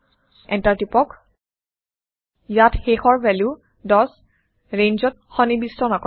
enter টিপক ইয়াত শেষৰ ভেলু ১০ ৰেঞ্জত সন্নিবিষ্ট নকৰে